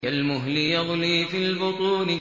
كَالْمُهْلِ يَغْلِي فِي الْبُطُونِ